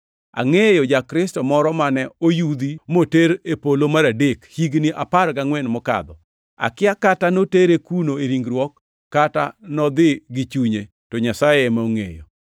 Angʼeyo ja-Kristo moro mane oyudhi moter e polo mar adek, higni apar gangʼwen mokadho. Akia kata notere kuno e ringruok kata nodhi gi chunye, to Nyasaye ema ongʼeyo.